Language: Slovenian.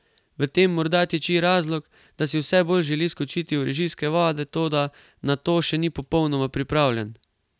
V tem morda tiči razlog, da si vse bolj želi skočiti v režijske vode, toda na to še ni popolnoma pripravljen.